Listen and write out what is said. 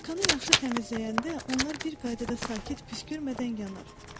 Vulkanı yaxşı təmizləyəndə onlar bir qaydada sakit püskürmədən yanar.